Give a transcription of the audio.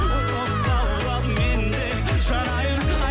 от боп лаулап мен де жанайын